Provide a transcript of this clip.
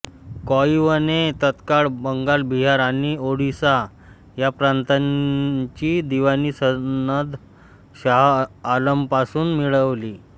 क्लाइव्हने तत्काल बंगाल बिहार आणि ओरिसा या प्रातांची दिवाणी सनद शाह आलमपासून मिळविली